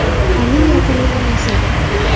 Ali yoqimli emas edi.